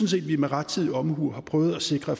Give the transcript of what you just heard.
set at vi med rettidig omhu har prøvet at sikre